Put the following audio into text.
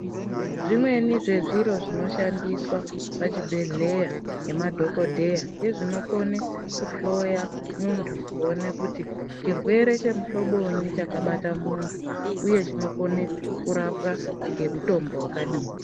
Zvimweni zvezviro zvinoshandiswa pachibhedhleya, ngemadhokodheya, ngezvinokone kuhloya muntu kuona kuti chirwere chemuhlobonyi chakabata muntu, uye chinokone kurapwa ngemutombo wakadini.